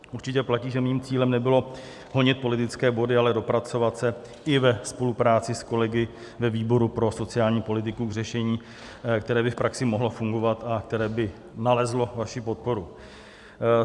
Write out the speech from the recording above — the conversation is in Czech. Určitě platí, že mým cílem nebylo honit politické body, ale dopracovat se i ve spolupráci s kolegy ve výboru pro sociální politiku k řešení, které by v praxi mohlo fungovat a které by nalezlo vaši podporu.